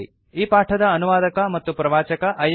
ಈ ಪಾಠದ ಅನುವಾದಕ ಮತ್ತು ಪ್ರವಾಚಕ ಐಐಟಿ